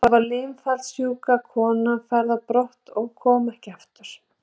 Þá var limafallssjúka konan færð á brott og kom ekki aftur.